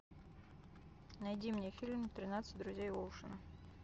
найди мне фильм тринадцать друзей оушена